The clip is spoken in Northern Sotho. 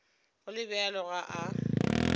go le bjalo ga a